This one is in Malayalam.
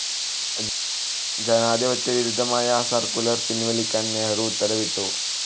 ജനാധിപത്യ വിരുദ്ധമായ ആ സർക്കുലർ പിൻവലിക്കാൻ നെഹ്‌റു ഉത്തരവിട്ടു.